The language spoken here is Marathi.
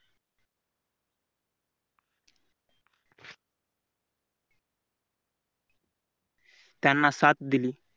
त्यांना साथ दिली.